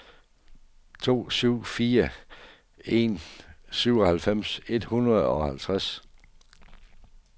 to syv fire en syvoghalvfjerds et hundrede og halvtreds